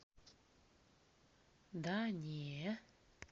да не